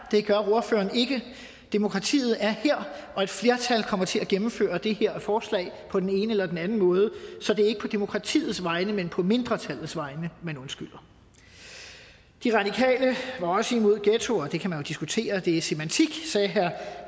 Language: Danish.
det gør ordføreren ikke demokratiet er her og et flertal kommer til at gennemføre det her forslag på den ene eller den anden måde så det er ikke på demokratiets vegne men på mindretallets vegne man undskylder de radikale var også imod ghettoer det kan man jo diskutere det er semiotik sagde herre